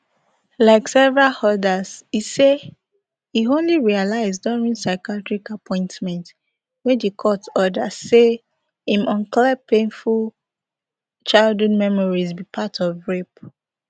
like several odas e say e only realise during psychiatrist appointments wey di court order say im unclear painful childhood memories be part of rape